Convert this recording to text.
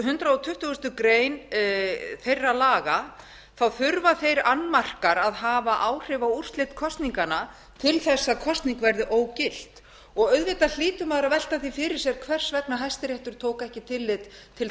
hundrað tuttugasta greinar þeirra laga þurfa þeir annmarkar að hafa áhrif á úrslit kosninganna til þess að að kosning verði ógilt auðvitað hlýtur maður að velta því fyrir sér hvers vegna hæstiréttur tók ekki tillit til